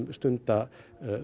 stunda